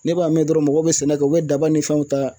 Ne b'a mɛn dɔrɔn mɔgɔw be sɛnɛ kɛ u be daba ni fɛnw ta